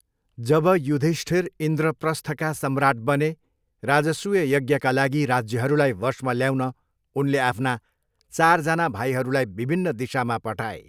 जब युधिष्ठिर इन्द्रप्रस्थका सम्राट बने राजसूय यज्ञका लागि राज्यहरूलाई वशमा ल्याउन उनले आफ्ना चारजना भाइहरूलाई विभिन्न दिशामा पठाए।